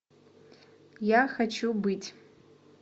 я хочу быть